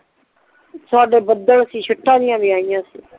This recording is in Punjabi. ਸਾਡੇ ਬਦੱਲ ਸੀ ਸ਼ਿਟਾ ਵੀ ਆਈਆ ਸੀ